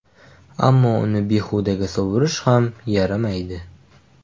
Ammo uni behudaga sovurish ham yaramaydi.